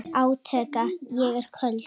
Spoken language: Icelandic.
Ég er köld.